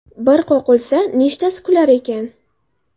Bir qoqilsa, nechtasi kular ekan?